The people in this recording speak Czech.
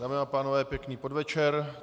Dámy a pánové, pěkný podvečer.